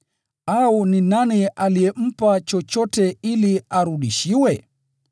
“Au ni nani aliyempa chochote ili arudishiwe?”